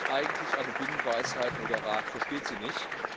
Es ist eigentlich eine Binsenweisheit, nur der Rat versteht sie nicht.